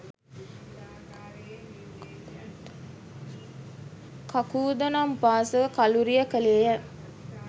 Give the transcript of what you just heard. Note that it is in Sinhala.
කකුධ නම් උපාසක කළුරිය කළේ ය.